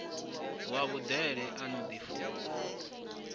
wa vhudele a no ḓifuna